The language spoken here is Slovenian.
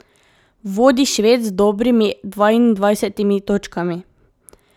Vodi Šved z dobrimi dvaindvajsetimi točkami.